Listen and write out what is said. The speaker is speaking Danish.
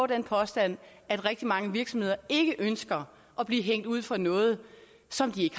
den påstand at rigtig mange virksomheder ikke ønsker at blive hængt ud for noget som de